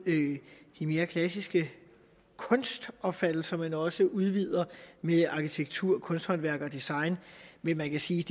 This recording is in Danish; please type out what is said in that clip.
de mere klassiske kunstopfattelser men også udvider med arkitektur kunsthåndværk og design men man kan sige